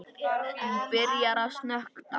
Hún byrjar að snökta.